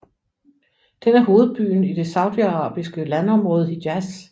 Den er hovedbyen i det saudiarabiske landområde Hijaz